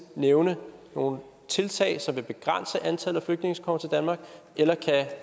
nævne nogle tiltag som vil begrænse antallet af flygtninge som kommer til danmark eller kan